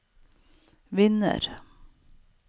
vinner